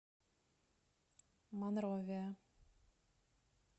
монровия